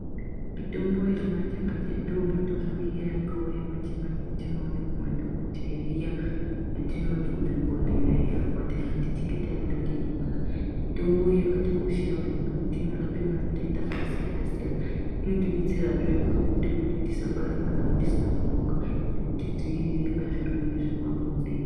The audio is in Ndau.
Mitombo yechimanjemanje ndiyomitombo iya yakauya manjemanje iyatinoona kumadhokodheya yatinoona kuzvibhehlera iya kana techinge taenda teirwara. Mitombo iyi yakatikoshera maningi kuti inorape matenda aksiyana siyana inotibetserazve paakuite kuti tisbare ana atisina kuronga nekutidzivirire pazvirwere zvepabonde.